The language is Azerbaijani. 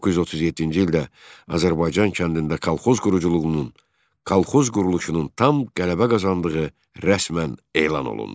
1937-ci ildə Azərbaycan kəndində kolxoz quruculuğunun, kolxoz quruluşunun tam qələbə qazandığı rəsmən elan olundu.